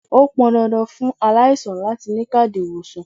Ó pọn dandan fún aláìsàn láti ni káàdì ìwòsàn.